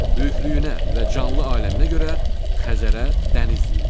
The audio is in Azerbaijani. Böyüklüyünə və canlı aləminə görə Xəzərə dəniz deyirlər.